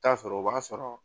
Taa sɔrɔ o b'a sɔrɔ